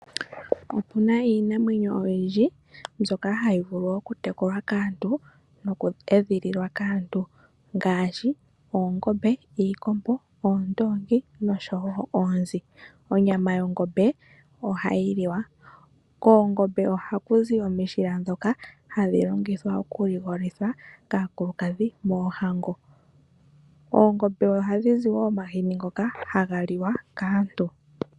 Opuna iinamwenyo oyindji ndjoka hayi tekulwa noku edhililwa kaantu ngashi oongombe hoka ha gu zi omishila dhokuligolithwa mooohango, ha ku zi onyama oshowo omahini goku li wa.